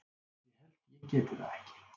ég held ég geti það ekki.